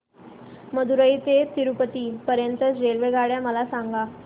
मदुरई ते तिरूपती पर्यंत च्या रेल्वेगाड्या मला सांगा